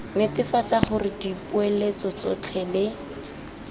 netefatsa gore dipoeletso tsotlhe le